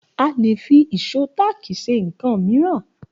A lè fi ìṣó táákì ṣe nkan mìíràn